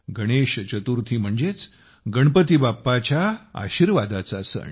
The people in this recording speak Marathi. गणेश चतुर्थी म्हणजेच गणपती बाप्पाच्या आशीर्वादाचा सण